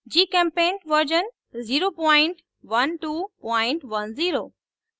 gchempaint version 01210